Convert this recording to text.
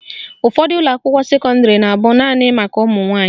Ụfọdụ ụlọakwụkwọ sekọndịrị na abụ naanị maka ụmụnwanyị